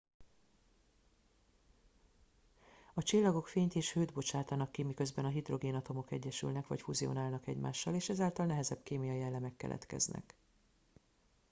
a csillagok fényt és hőt bocsátanak ki miközben a hidrogénatomok egyesülnek vagy fuzionálnak egymással és ezáltal nehezebb kémiai elemek keletkeznek